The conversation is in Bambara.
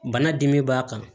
Bana dimi b'a kan